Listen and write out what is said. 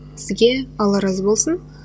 сізге алла разы болсын